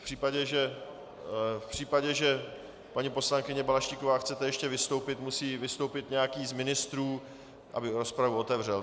V případě, že, paní poslankyně Balaštíková, chcete ještě vystoupit, musí vystoupit nějaký z ministrů, aby rozpravu otevřel.